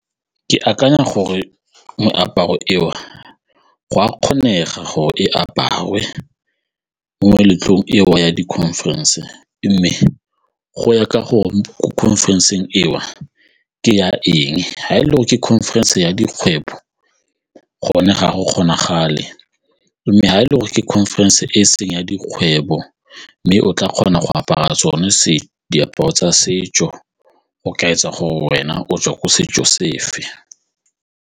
Ke akanya gore meaparo eo go a kgonega go e aparwe mo meletlong eo ya di-conference mme go ya ka gore ko conference-eng eo ke ya eng, ga e le go ke conference ya dikgwebo gone ga go kgonagale mme ga e le gore ke conference e se ya dikgwebo mme o tla kgona go apara sone se diaparo tsa setso o ka etsa gore wena o tswa ko setso sefe.